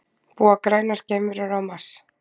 Búa grænar geimverur á Mars?